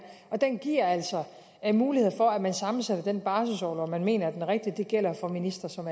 og den giver altså muligheder for at man sammensætter den barselsorlov man mener er den rigtige det gælder for ministre som